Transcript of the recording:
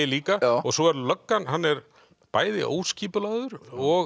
líka svo er löggan hann er bæði óskipulagður og